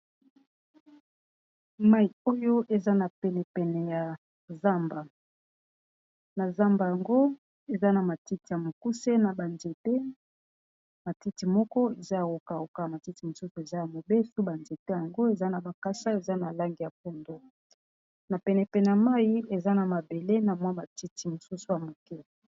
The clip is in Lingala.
Mayi oyo eza na pene pene ya zamba na zamba yango eza na matiti ya mokuse na ba nzete matiti moko eza ya ko kauka matiti mosusu eza ya mobesu ba nzete yango eza na bakasa eza na langi ya pondu na pene pene ya mayi eza na mabele na mwa matiti mosusu ya moke.